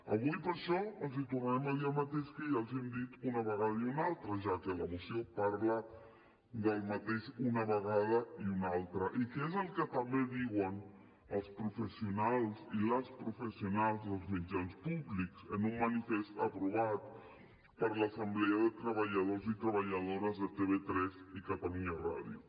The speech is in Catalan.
avui per això els tornarem a dir el mateix que ja els hem dit una vegada i una altra ja que la moció parla del mateix una vegada i una altra i que es el que també diuen els professionals i les professionals dels mitjans públics en un manifest aprovat per l’assemblea de treballadors i treballadores de tv3 i catalunya ràdio